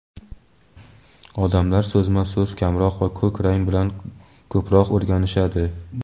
Odamlar so‘zma-so‘z kamroq va ko‘k rang bilan ko‘proq o‘rganishadi .